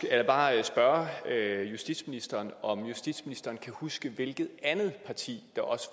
jeg bare spørge justitsministeren om justitsministeren kan huske hvilket andet parti der også